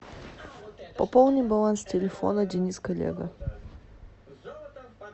пополни баланс телефона денис коллега